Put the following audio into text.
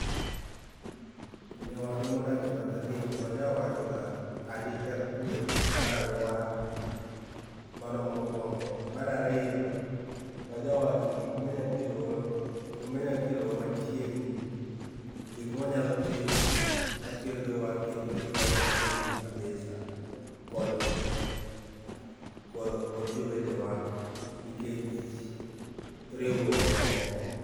nyawadwa ma odak e batha ni waja wachoga arita kwee mar aluora, mano mokuongo, mar ariyo waja wacho gik manyakelo manya kelowa machiegni, gikma wanyalo timo makelo wa kendo ketowa machiegni kabisa kod jowetewa nikech riwruok e teko